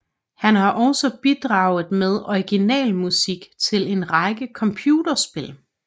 Han har også bidraget med originalmusik til en række computerspil